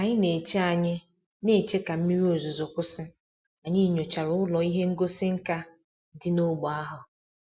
Ka anyị na-eche anyị na-eche ka mmiri ozuzo kwụsị, anyị nyochara ụlọ ihe ngosi nka dị n'ógbè ahụ